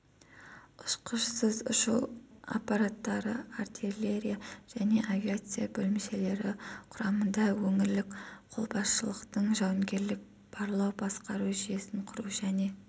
ұшқышсыз ұшу аппараттары артиллерия және авиация бөлімшелері құрамында өңірлік қолбасшылықтың жауынгерлік барлау-басқару жүйесін құру және